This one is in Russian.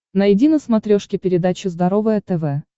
найди на смотрешке передачу здоровое тв